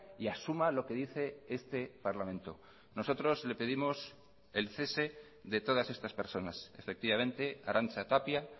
y asuma lo que dice este parlamento nosotros le pedimos el cese de todas estas personas efectivamente arantza tapia